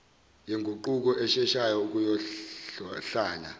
yenguquko esheshayo ukuyohlala